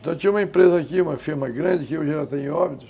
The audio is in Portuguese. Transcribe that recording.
Então tinha uma empresa aqui, uma firma grande, que hoje